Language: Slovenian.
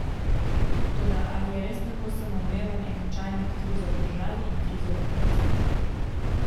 Toda, ali je res tako samoumeven enačaj med krizo v državi in krizo v zdravstvu?